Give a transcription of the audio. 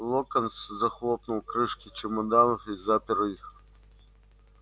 локонс захлопнул крышки чемоданов и запер их